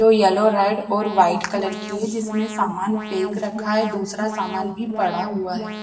जो yellow red और white colour की है जिसमें सामान पैक रखा है दूसरा सामान भी पड़ा हुआ है।